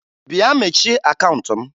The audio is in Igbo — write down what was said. Bịa mechie akaụnt m!